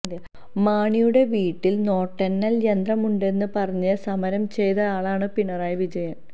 മാണിയുടെ വീട്ടില് നോട്ടെണ്ണല് യന്ത്രം ഉണ്ടെന്ന് പറഞ്ഞ് സമരം ചെയ്തയാളാണ് പിണറായി വിജയന്